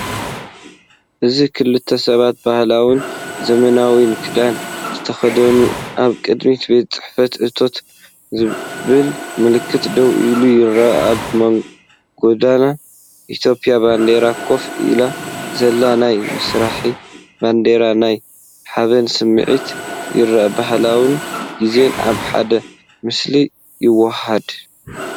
እዚ ክልተ ሰባት ባህላውን ዘመናውን ክዳን ዝተኸድኑ ኣብ ቅድሚ “ቤት ፅሕፈት እቶት” ዝብል ምልክት ደው ኢሎም ይረኣዩ፤ ኣብ ጎድኒ ኢትዮጵያዊ ባንዴራ ኮፍ ኢሉ ዘሎ ናይ መስርያ ባነርን ናይ ሓበን ስምዒት የርእዩ። ባህልን ግዜን ኣብ ሓደ ምስሊ ይወሃሃድ።